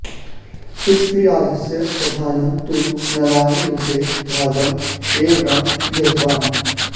पृथ्वीराजस्य प्रधानः तु नरायनयुद्धे भागम् एव न गृहीतवान्